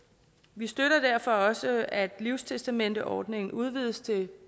vi støtter derfor også at livstestamenteordningen udvides til